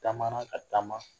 Taamana ka taama